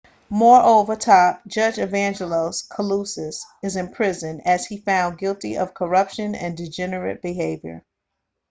moreover top judge evangelos kalousis is imprisoned as he found guilty of corruption and degenerate behaviour